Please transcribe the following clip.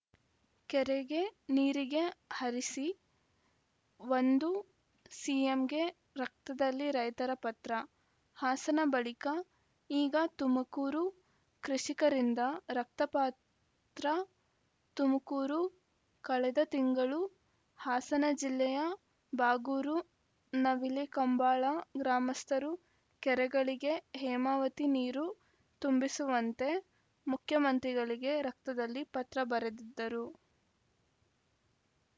ಕೆರೆಗೆ ನೀರಿಗೆ ಹರಿಸಿ ಎಂದು ಸಿಎಂಗೆ ರಕ್ತದಲ್ಲಿ ರೈತರ ಪತ್ರ ಹಾಸನ ಬಳಿಕ ಈಗ ತುಮಕೂರು ಕೃಷಿಕರಿಂದ ರಕ್ತಪತ್ರ ತುಮಕೂರು ಕಳೆದ ತಿಂಗಳು ಹಾಸನ ಜಿಲ್ಲೆಯ ಬಾಗೂರು ನವಿಲೆ ಕಂಬಾಳ ಗ್ರಾಮಸ್ಥರು ಕೆರೆಗಳಿಗೆ ಹೇಮಾವತಿ ನೀರು ತುಂಬಿಸುವಂತೆ ಮುಖ್ಯಮಂತ್ರಿಗಳಿಗೆ ರಕ್ತದಲ್ಲಿ ಪತ್ರಬರೆದಿದ್ದರು